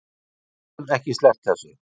Gátum ekki sleppt þessu